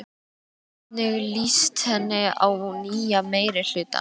Hvernig líst henni á nýja meirihlutann?